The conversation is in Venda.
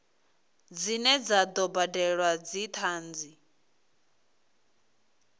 dzine dza do badelwa dzithanzi